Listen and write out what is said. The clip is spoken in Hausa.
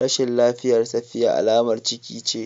Rashin lafiyar safiya alamar ciki ce